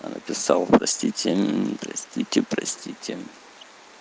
написал простите простите простите